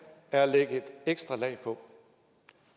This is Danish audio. er at lægge et ekstra lag på